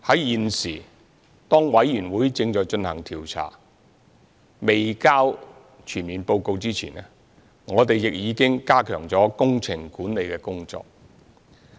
現時，當調查委員會正進行調查及提交全面報告前，我們已經加強工程管理的工作。